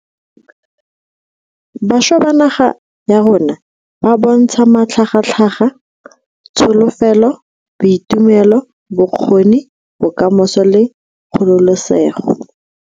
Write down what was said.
Bašwa ba naga ya rona ba bo ntsha matlhagatlhaga, tsholofelo, boitumelo, bokgoni, bokamoso le kgololesego.